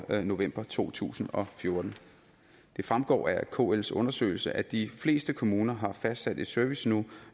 i november to tusind og fjorten det fremgår af kls undersøgelse at de fleste kommuner har fastsat et serviceniveau